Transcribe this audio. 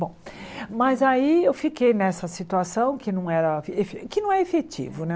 Bom, mas aí eu fiquei nessa situação que não era efe que não é efetivo, né?